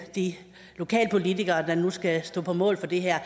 de lokale politikere der nu skal stå på mål for det her